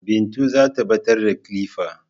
Bintu zata ɓatar da kilifa